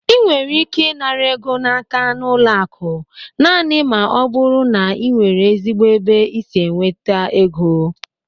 Ị nwere ike ịnara ego n'aka n'ụlọ akụ naanị ma ọ bụrụ na ị nwere ezigbo ebe i si enweta égo